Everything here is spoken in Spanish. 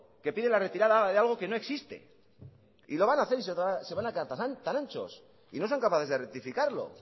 que pide la retirada de algo que no existe y lo van a hacer y se van a quedar tan anchos y no son capaces de rectificarlo